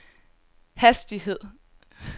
hastighed